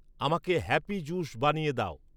আমাকে happy juice বানিয়ে দাও